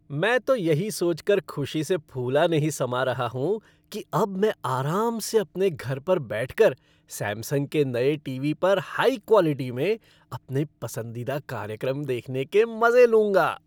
मैं तो यही सोचकर खुशी से फूला नहीं समा रहा हूँ कि अब मैं आराम से अपने घर पर बैठकर सैमसंग के नए टीवी पर हाई क्वालिटी में अपने पसंदीदा कार्यक्रम देखने के मज़े लूँगा।